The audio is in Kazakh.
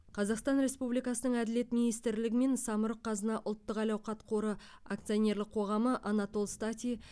қазақстан республикасының әділет министрлігі мен самұрық қазына ұлттық әл ауқат қоры акционерлік қоғамы анатол стати